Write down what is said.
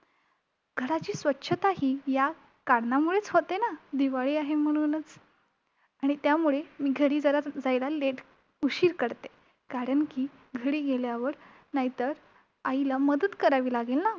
घराची स्वच्छताही या कारणामुळेच होते ना, दिवाळी आहे म्हणूनच! आणि त्यामुळे मी घरी जरा जायला late उशीर करते. कारण की, घरी गेल्यावर नाहीतर, आईला मदत करावी लागेल ना!